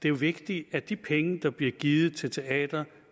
er vigtigt at de penge der bliver givet til teater